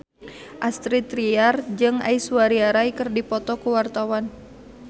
Astrid Tiar jeung Aishwarya Rai keur dipoto ku wartawan